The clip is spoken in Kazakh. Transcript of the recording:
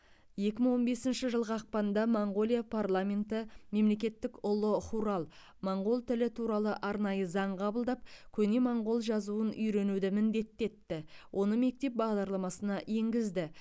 екі мың он бесінші жылғы ақпанда моңғолия парламенті мемлекеттік ұлы хурал моңғол тілі туралы арнайы заң қабылдап көне моңғол жазуын үйренуді міндетті етті оны мектеп бағдарламасына енгізді